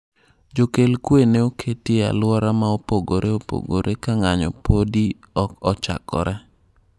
Jokel kwe ne oketi e aluora ma opogore opogore ka ng'anyo podi ok ochakore.